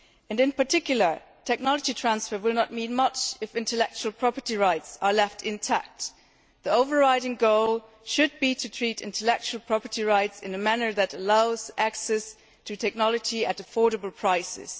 In particular, technology transfer will not need much if intellectual property rights are left intact. The overriding goal should be to treat intellectual property rights in a manner that allows access to technology at affordable prices.